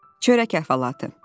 Çörək əhvalatı.